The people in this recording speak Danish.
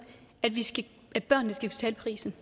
at børnene skal betale prisen